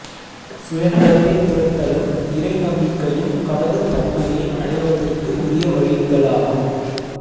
சுய நலத்தைத் துறத்தலும் இறை நம்பிக்கையும் கடவுள் தன்மையை அடைவதற்கு உரிய வழிகளாகும்